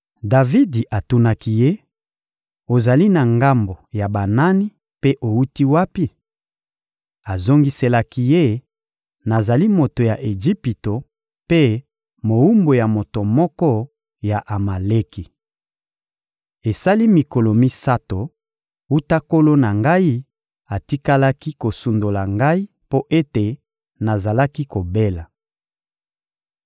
Davidi atunaki ye: — Ozali na ngambo ya banani mpe owuti wapi? Azongiselaki ye: — Nazali moto ya Ejipito mpe mowumbu ya moto moko ya Amaleki. Esali mikolo misato wuta nkolo na ngai atikalaki kosundola ngai mpo ete nazalaki kobela.